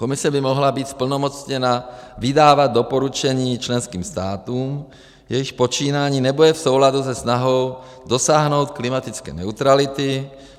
Komise by mohla být zplnomocněna vydávat doporučení členským státům, jejichž počínání nebude v souladu se snahou dosáhnout klimatické neutrality.